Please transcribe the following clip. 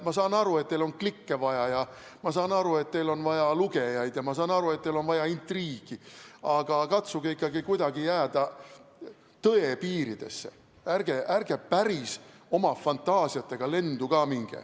Ma saan aru, et teil on vaja klikke, ma saan aru, et teil on vaja lugejaid, ma saan aru, et teil on vaja intriigi, aga katsuge ikkagi kuidagi jääda tõe piiridesse, ärge oma fantaasiatega päris lendu ka minge.